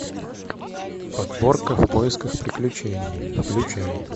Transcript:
подборка в поисках приключений включай